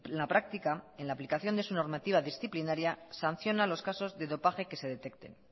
la práctica en la aplicación de su normativa disciplinaria sanciona los casos de dopaje que se detesten